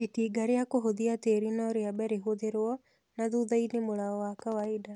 Itinga rĩa kũhũthia tĩri no rĩambe rĩhũthĩlwo na thuthainĩ mũlao wa kawaida